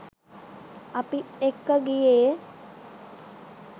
අපිත් එක්ක ගියේ